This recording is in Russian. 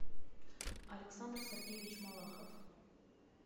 александр сергеевич малахов